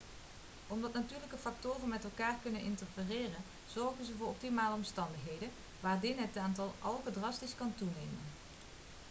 omdat natuurlijke factoren met elkaar kunnen interfereren zorgen ze voor optimale omstandigheden waardin het aantal algen drastisch kan toenemen